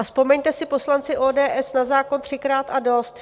A vzpomeňte si, poslanci ODS, na zákon třikrát a dost.